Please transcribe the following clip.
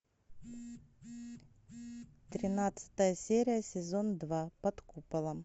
тринадцатая серия сезон два под куполом